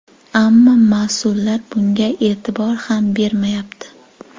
Ammo mas’ullar bunga e’tibor ham bermayapti”.